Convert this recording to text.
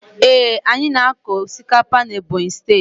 Ee, anyị na-akọ osikapa n'Ebonyi steeti.